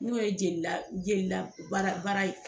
N'o ye jeli la jeli la baara baara ye